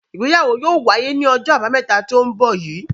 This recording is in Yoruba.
Ìgbéyàwó yóò wáyé ní ọjọ́ àbámẹ́ta tó ń bọ̀ yìí.